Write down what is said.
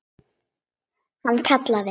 Hann kallaði